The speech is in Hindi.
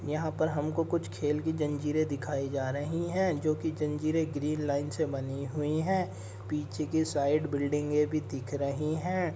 यहाँ पर हमको कुछ खेल की जंजीरें दिखाई जा रही हैं जो की जंजीरें ग्रीन लाइन से बनी हुई हैं। पीछे के साइड बिल्डिंगे भी दिख रहीं हैं।